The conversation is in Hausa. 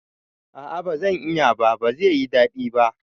A'a bazan iya ba, bazai yi daɗi ba